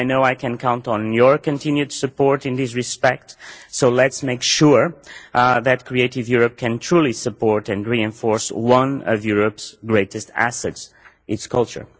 I know I can count on your continued support in this respect, so let us make sure that Creative Europe can truly support and reinforce one of Europe's greatest assets its culture.